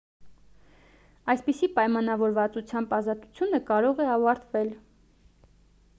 այսպիսի պայմանավորվածությամբ ազատությունը կարող է ավարտվել